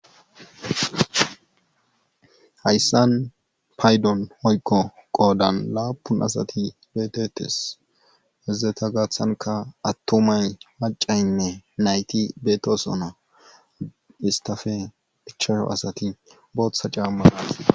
hayyssan paydon woykko qoodan laappun asati beettetes izeta gathankka attumay maccaynne nayti beettoosona istape ichashu asati bootha caamma aathida.